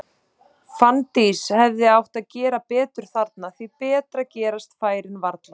Fanndís hefði átt að gera betur þarna, því betri gerast færin varla.